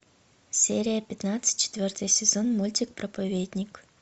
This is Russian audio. серия пятнадцать четвертый сезон мультик проповедник